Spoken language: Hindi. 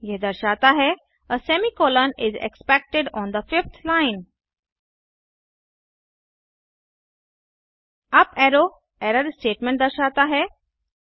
यह दर्शाता है uh semi colon is expected on the fifth line up arrow error statement दर्शाता है